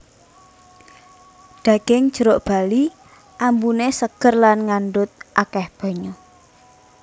Daging jeruk bali ambune seger Lan ngandhut akeh banyu